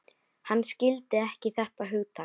Hann skildi ekki þetta hugtak.